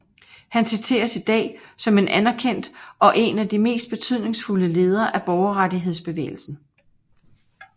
Han citeres i dag som en anerkendt og en af de mest betydningsfulde ledere af borgerrettighedsbevægelsen